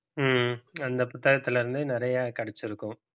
ஹம் அந்த புத்தகத்திலே இருந்து நிறைய கிடைச்சிருக்கும்